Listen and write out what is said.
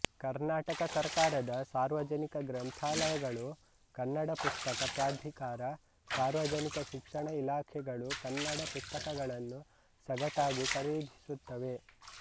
ಕರ್ನಾಟಕ ಸರಕಾರದ ಸಾರ್ವಜನಿಕ ಗ್ರಂಥಾಲಯಗಳು ಕನ್ನಡ ಪುಸ್ತಕ ಪ್ರಾಧಿಕಾರ ಸಾರ್ವಜನಿಕ ಶಿಕ್ಷಣ ಇಲಾಖೆಗಳು ಕನ್ನಡ ಪುಸ್ತಕಗಳನ್ನು ಸಗಟಾಗಿ ಖರೀದಿಸುತ್ತವೆ